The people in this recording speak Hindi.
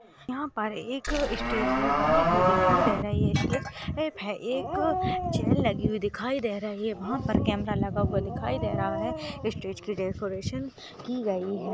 यहाँ पर एक इ स्टेज बनि हुई दिखाई दे रही है एक-एक चैर लगी हुई दिखाई दे रही है वहाँ पर कमेरा लगा हुआ दिखाई दे रहा है इ स्टेज की डेकोरेशन की गयी है।